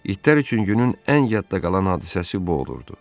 İtlər üçün günün ən yadda qalan hadisəsi bu olurdu.